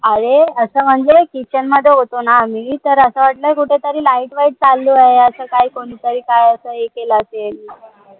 अरे असं म्हणजे kitchen मध्ये होतो न आम्ही तर असं वाटलं कुठेतरी light वाईट चालले आहे असं काही कोणी तरी काही हे केलं असेल